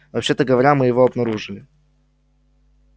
вообще-то говоря мы его обнаружили